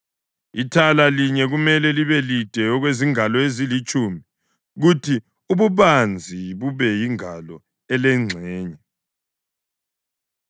Ithala linye kumele libe lide okuzingalo ezilitshumi, kuthi ububanzi bube yingalo elengxenye,